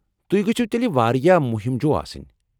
تُہۍ گژھِو تیلہِ وارِیاہ مُہِم جوٗ آسٕنۍ ۔